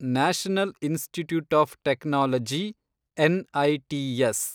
national institutes of technology, NITs